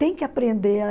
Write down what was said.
Tem que aprender.